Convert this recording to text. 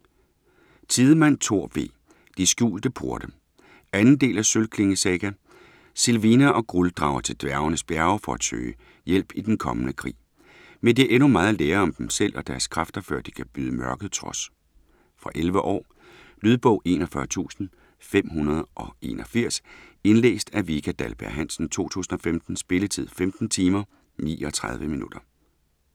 Tidemand, Thor V.: De skjulte porte 2. del af Sølvklinge saga. Sylvina og Grull drager til dværgenes bjerge for at søge hjælpe til den kommende krig. Men de har endnu meget at lære om dem selv og deres kræfter før de kan byde mørket trods. Fra 11 år. Lydbog 41581 Indlæst af Vika Dahlberg-Hansen, 2015. Spilletid: 15 timer, 39 minutter.